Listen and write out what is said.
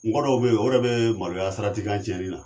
Mɔgɔ dɔw be ye o yɛrɛ be maloya saratikan cɛni na